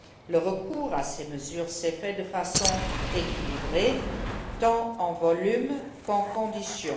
Le recours à ces mesures s'est fait de façon équilibrée, tant en volume qu'en conditions.